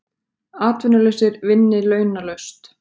Atvinnulausir vinni launalaust